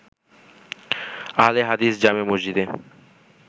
আহলে হাদিস জামে মসজিদে